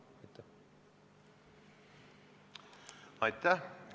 Aitäh!